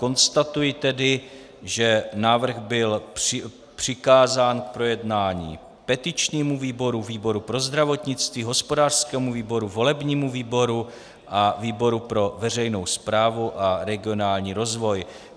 Konstatuji tedy, že návrh byl přikázán k projednání petičnímu výboru, výboru pro zdravotnictví, hospodářskému výboru, volebnímu výboru a výboru pro veřejnou správu a regionální rozvoj.